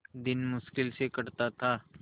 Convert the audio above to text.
दिन मुश्किल से कटता था